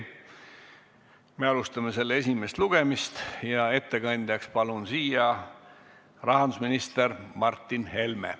Me alustame selle esimest lugemist ja ettekandjaks palun siia rahandusminister Martin Helme.